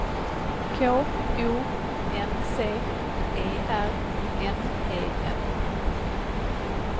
K O N C E R N E N